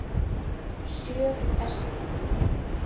Sjö er saknað.